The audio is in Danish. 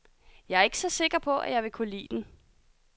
Jeg er ikke så sikker på, at jeg vil kunne lide den.